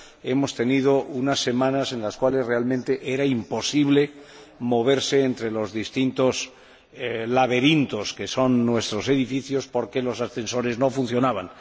hemos tenido unas semanas en las cuales realmente era imposible moverse entre los distintos laberintos que son nuestros edificios, porque los ascensores no funcionaban.